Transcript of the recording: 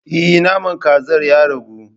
Eh naman kazar ya ragu.